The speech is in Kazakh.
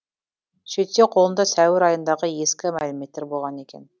сөйтсе қолында сәуір айындағы ескі мәліметтер болған екен